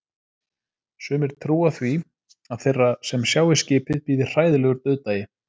Sumir trúa því að þeirra sem sjái skipið bíði hræðilegur dauðdagi.